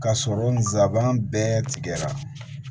Ka sɔrɔ n zaban bɛɛ tigɛra